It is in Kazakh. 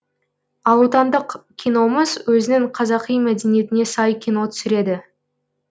ал отандық киномыз өзінің қазақи мәдениетіне сай кино түсіреді